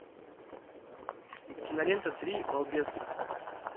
кинолента три балбеса